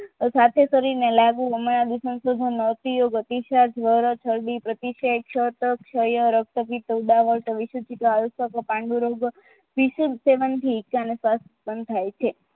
સાથે શરીરને લાગુ એમાં અનુસંધાનનો અતીયોગ ઉપયોગ અતિશત દ્વારા થતી પ્રતિ ક્રિયા ક્ષયહિત ઉદાહરણ પાંડુરોગ વિશોલ ઇકા અને સ્વાસ્થ બંધાય છે